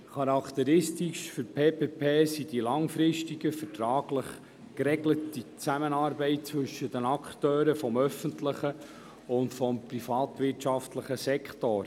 Charakteristisch für eine PPP ist die langfristige, vertraglich geregelte Zusammenarbeit zwischen den Akteuren des öffentlichen und des privatwirtschaftlichen Sektors.